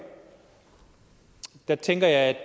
tænker jeg